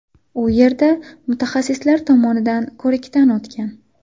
U yerda mutaxassislar tomonidan ko‘rikdan o‘tgan.